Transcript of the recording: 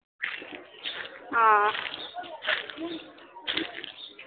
আহ